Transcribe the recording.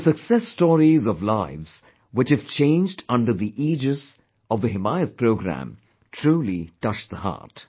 The success stories of lives which have changed under the aegis of the 'Himayat Programme', truly touch the heart